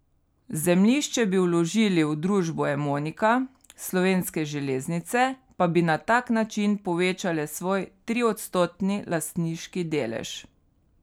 Zemljišče bi vložili v družbo Emonika, Slovenske železnice pa bi na tak način povečale svoj triodstotni lastniški delež.